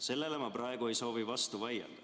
Sellele ma praegu ei soovi vastu vaielda.